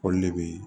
Olu de be